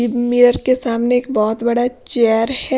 Mirror के सामने बहुत बड़ा चेयर है।